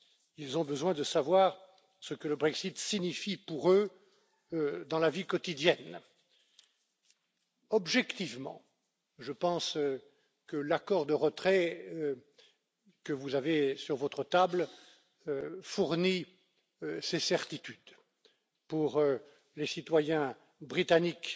Ils ont besoin de savoir ce que le Brexit signifie pour eux dans la vie quotidienne. Objectivement, je pense que l'accord de retrait que vous avez sur votre table fournit ces certitudes pour les citoyens britanniques